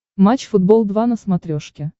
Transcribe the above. матч футбол два на смотрешке